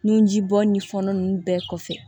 Nunjibɔ ni fɔlɔ ninnu bɛɛ kɔfɛ